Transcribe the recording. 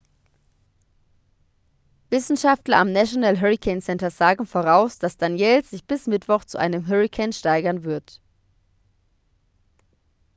wissenschaftler am national hurricane center sagen voraus dass danielle sich bis mittwoch zu einem hurrikan steigern wird